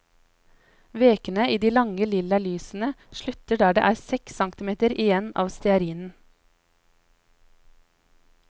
Vekene i de lange, lilla lysene slutter der det er seks centimeter igjen av stearinen.